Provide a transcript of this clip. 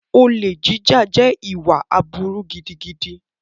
Olè jíjà jẹ́ ìwà aburú gidigidi.